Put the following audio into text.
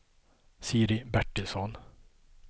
Siri Bertilsson